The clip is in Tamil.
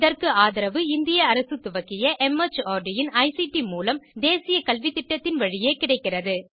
இதற்கு ஆதரவு இந்திய அரசு துவக்கிய மார்ட் இன் ஐசிடி மூலம் தேசிய கல்வித்திட்டத்தின் வழியே கிடைக்கிறது